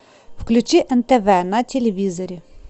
включи нтв на телевизоре